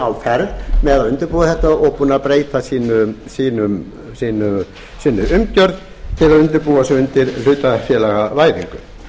á ferð með að undirbúa þetta og búnir að breyta sinni umgjörð til að undirbúa sig undir hlutafélagavæðingu